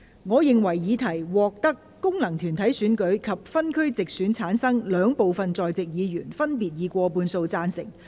我認為議題獲得經由功能團體選舉產生及分區直接選舉產生的兩部分在席議員，分別以過半數贊成。